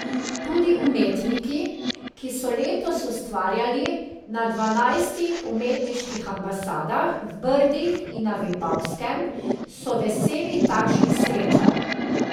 Tudi umetniki, ki so letos ustvarjali na dvanajstih umetniških ambasadah v Brdih in na Vipavskem, so veseli takšnih srečanj...